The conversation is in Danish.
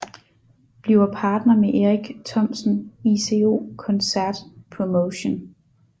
Bliver partner med Erik Thomsen ICO koncert promotion